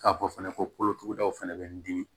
K'a fɔ fɛnɛ ko kolotugudaw fana bɛ n dimi